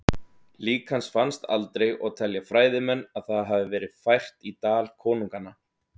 Lík hans fannst aldrei og telja fræðimenn að það hafi verið fært í Dal konunganna.